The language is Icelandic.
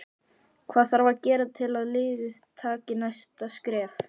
Hvað þarf að gera til að liðið taki næsta skref?